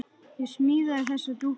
Ég smíðaði þessa dúkku.